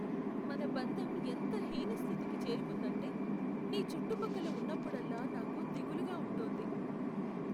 మన బంధం ఎంత హీన స్థితికి చేరుకుందంటే, నీ చుట్టుపక్కల ఉన్నప్పుడల్లా నాకు దిగులుగా ఉంటోంది.